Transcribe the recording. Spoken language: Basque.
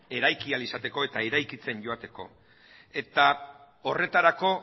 eraiki ahal izateko eta eraikitzen joateko horretarako